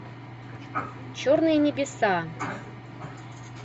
черные небеса